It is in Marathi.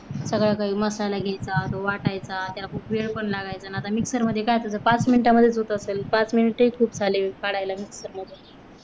सगळं काही मसाला घ्यायचा तो वाटायचा त्या खूप वेळ पण लागायचा, पण आत्ता mixer मध्ये काय तुझं पाच minute मध्ये होत असेल पाच minute ही खूप झाली काढायला घेतल मध्ये